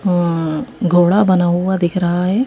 अं घोड़ा बना हुआ दिख रहा है।